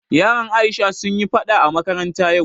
Yaran Aisha sun yi faɗa a makaranta yau